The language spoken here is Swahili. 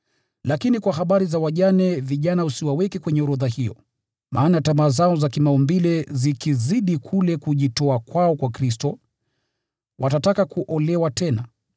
Lakini kwa habari za wajane vijana usiwaweke kwenye orodha hiyo, maana tamaa zao za kimaumbile zikizidi kule kujitoa kwao kwa Kristo, watataka kuolewa tena.